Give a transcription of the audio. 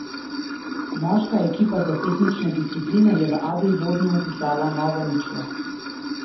Moška ekipa za tehnične discipline je v Adelbodnu vpisala novo ničlo.